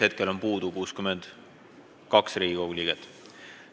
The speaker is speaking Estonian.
Hetkel on puudu 62 Riigikogu liiget.